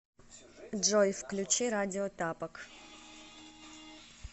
джой включи радио тапок